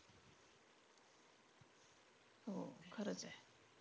हो खरंच आहे.